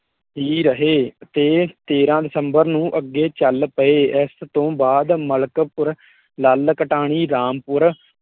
ਹੀ ਰਹੇ ਤੇ ਤੇਰਾਂ ਦਸੰਬਰ ਨੂੰ ਅੱਗੇ ਚਲ ਪਏ ਤੇ ਇਸ ਤੋਂ ਬਾਅਦ ਮਲਕਪੁਰ ਲੱਲ ਕਟਾਣੀ ਰਾਮਪੁਰ ਹੀ ਰਹੇ